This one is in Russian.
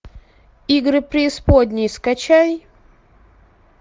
игры преисподней скачай